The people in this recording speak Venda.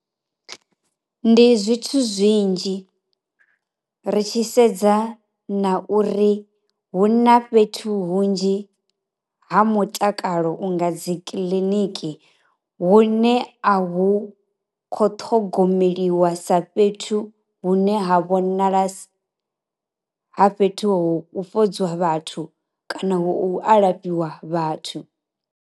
Ndi zwithu zwinzhi, ri tshi sedza na uri huna fhethu hunzhi ha mutakalo unga dzi kiḽiniki vhune a hu kho ṱhogomeliwa sa fhethu hune ha vhonala ha fhethu ho u fhodza vhathu kana hu alafhiwa vhathu.